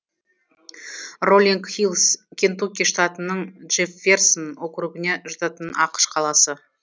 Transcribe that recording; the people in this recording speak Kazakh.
роллинг хиллс кентукки штатының джэфферсон округіне жататын ақш қаласы